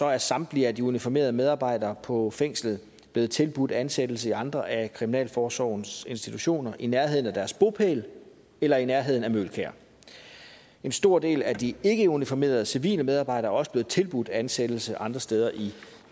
at samtlige af de uniformerede medarbejdere på fængslet er blevet tilbudt ansættelse i andre af kriminalforsorgens institutioner i nærheden af deres bopæl eller i nærheden af møgelkær en stor del af de ikkeuniformerede civile medarbejdere er også blevet tilbudt ansættelse andre steder i